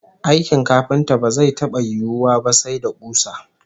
Aikin kafinta ba zai taba yiwuwa ba sai da kusa